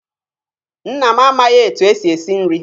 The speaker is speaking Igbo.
Nna m amaghị etu e si esi nri